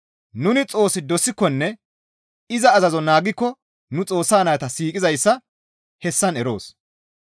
Nuni Xoos dosikkonne iza azazo naagikko nuni Xoossa nayta siiqizayssa hessan eroos.